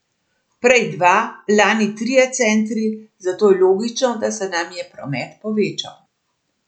Prej dva, lani trije centri, zato je logično, da se nam je promet povečal.